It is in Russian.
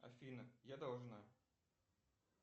афина я должна